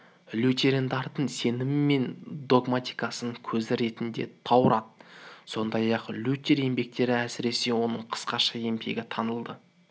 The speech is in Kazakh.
лютерандардың сенімі мен догматикасының көзі ретінде таурат сондай-ақ лютер еңбектері әсіресе оның қысқаша еңбегі танылады